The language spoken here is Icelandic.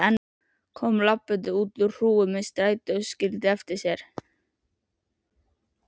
Kom labbandi út úr hrúgu sem strætó skildi eftir sig.